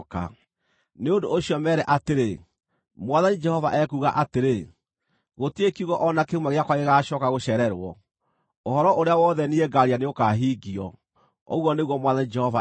“Nĩ ũndũ ũcio meere atĩrĩ, ‘Mwathani Jehova ekuuga atĩrĩ: Gũtirĩ kiugo o na kĩmwe gĩakwa gĩgaacooka gũcererwo; ũhoro ũrĩa wothe niĩ ngaaria nĩũkahingio, ũguo nĩguo Mwathani Jehova ekuuga.’ ”